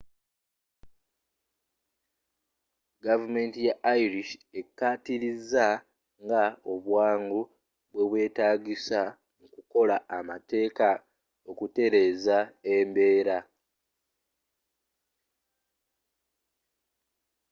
gavumenti ya irish ekkaatiriza nga obwangu bwe bwetaagisa mu kukola amateeka okutereza embeera